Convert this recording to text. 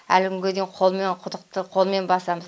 әлі күнге дейін қолмен құдықты қолмен басамыз